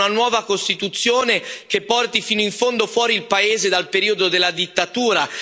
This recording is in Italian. Serve una nuova Costituzione che porti fino in fondo fuori il paese dal periodo della dittatura.